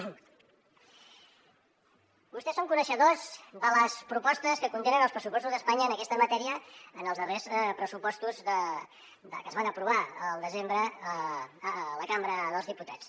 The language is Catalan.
vostès són coneixedors de les propostes que contenen els pressupostos d’espanya en aquesta matèria en els darrers pressupostos que es van aprovar al desembre a la cambra dels diputats